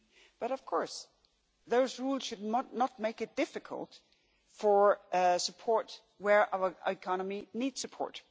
But of course those rules should not make it difficult for support where our economy needs support.